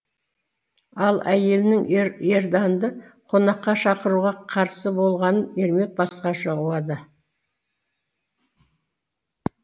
ал әйелінің ерданды қонаққа шақыруға қарсы болғанын ермек басқаша ұғады